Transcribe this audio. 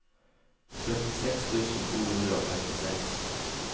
femtiseks tusen to hundre og femtiseks